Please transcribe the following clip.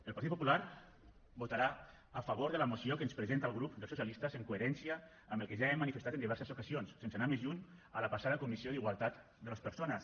el partit popular votarà a favor de la moció que ens presenta el grup dels socialistes en coherència amb el que ja hem manifestat en diverses ocasions sense anar més lluny a la passada comissió d’igualtat de les persones